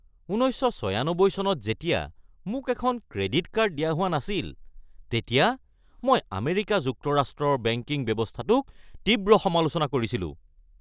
১৯৯৬ চনত যেতিয়া মোক এখন ক্ৰেডিট কাৰ্ড দিয়া হোৱা নাছিল তেতিয়া মই আমেৰিকা যুক্তৰাষ্ট্ৰৰ বেংকিং ব্যৱস্থাটোক তীব্ৰ সমালোচনা কৰিছিলোঁ।